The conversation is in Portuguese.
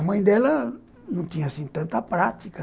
A mãe dela não tinha tanta prática.